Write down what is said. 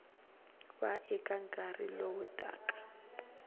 va eka nkarhi lowu taka